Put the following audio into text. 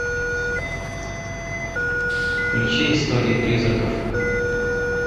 включи истории призраков